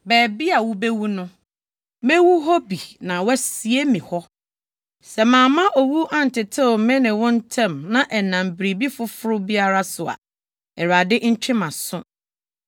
Baabi a wubewu no, mewu hɔ bi na wɔasie me hɔ. Sɛ mamma owu antetew me ne wo ntam na ɛnam biribi foforo biara so a, Awurade ntwe mʼaso.”